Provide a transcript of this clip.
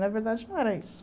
Na verdade, não era isso.